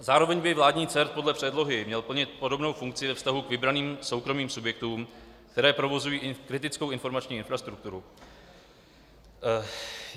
Zároveň by vládní CERT podle předlohy měl plnit podobnou funkci ve vztahu k vybraným soukromým subjektům, které provozují kritickou informační infrastrukturu.